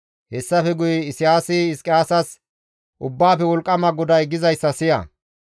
Hessafe guye Isayaasi Hizqiyaasas, «Ubbaafe Wolqqama GODAY gizayssa siya;